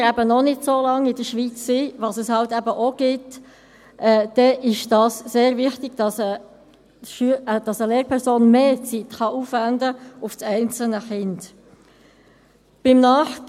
Wenn Kinder noch nicht so lange in der Schweiz sind, was es eben auch gibt, ist es sehr wichtig, dass eine Lehrperson mehr Zeit für das einzelne Kind aufwenden kann.